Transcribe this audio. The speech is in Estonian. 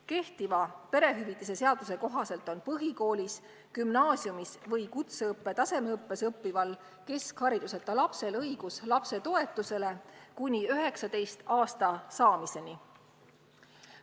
Kehtiva perehüvitiste seaduse kohaselt on põhikoolis, gümnaasiumis või kutseõppe tasemeõppes õppival keskhariduseta lapsel õigus lapsetoetusele kuni 19-aastaseks saamiseni.